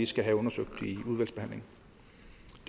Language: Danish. skal have undersøgt